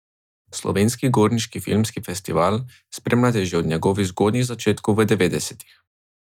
Slovenski gorniški filmski festival spremljate že od njegovih zgodnjih začetkov v devetdesetih.